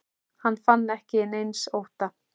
Hann fann ekki til neins ótta.